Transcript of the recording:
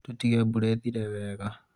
tũtige mbura ĩthire wega